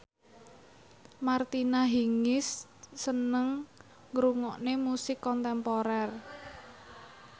Martina Hingis seneng ngrungokne musik kontemporer